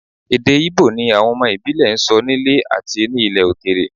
Èdè Íbò ni àwọn ọmọ ìbílẹ̀ ń sọ nílé àti ní ilẹ̀ òkèèrè